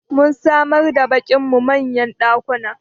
Mun samar wa baƙin mu manyan ɗakuna